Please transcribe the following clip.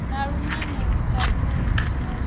na lunane lu sa tumuwi